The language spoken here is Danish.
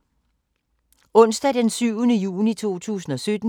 Onsdag d. 7. juni 2017